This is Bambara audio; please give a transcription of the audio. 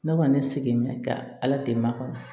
Ne kɔni sigi mɛn ka ala deli ma kɔnɔ